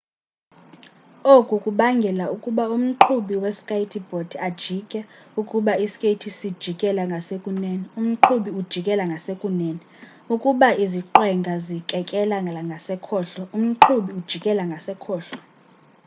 oku kubangela ukuba umqhubi we skayiti bhodi ajike ukuba ii skeyithi sijikela ngasekunene umqhubi ujikela ngasekunene ukuba iziqwenga zikekelela ngasekhohlo umqhubi ujikela ngasekhohlo